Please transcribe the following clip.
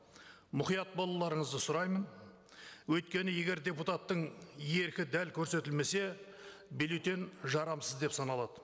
мұқият болуларыңызды сұраймын өйткені егер депутаттың еркі дәл көрсетілмесе бюллетень жарамсыз деп саналады